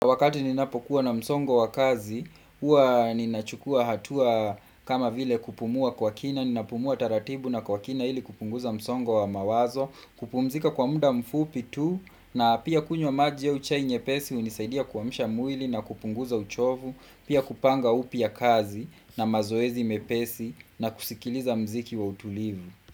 Wakati ninapokuwa na msongo wa kazi, huwa ninachukua hatua kama vile kupumua kwa kina, ninapumua taratibu na kwa kina ili kupunguza msongo wa mawazo, kupumzika kwa muda mfupi tu, na pia kunywa maji au chai nyepesi hunisaidia kuamsha mwili na kupunguza uchovu pia kupanga upya kazi, na mazoezi mepesi na kusikiliza mziki wa utulivu.